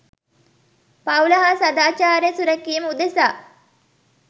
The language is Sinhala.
පවුල හා සදාචාරය සුරැකීම උදෙසා